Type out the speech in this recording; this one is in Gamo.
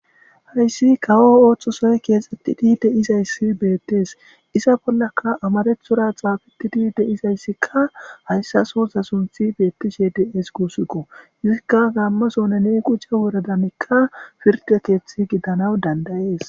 Hayssi kawo ooththosoy keexxettidi deizayssi beettees isa bollaka amarethora xaafetidi de'izayssikka hayssa sosa sunthi beettishe de'es guusiko izikka gaammasone ne quje woradanikka pirde keethi gidanaw dandayees.